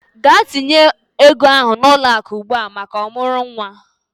Gaa tinye ego ahụ n'ụlọakụ ugbua maka ọmụrụ nwa!